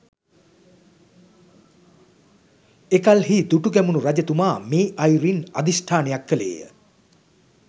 එකල්හි දුටුගැමුණු රජතුමා මේ අයුරින් අධිෂ්ඨානයක් කළේ ය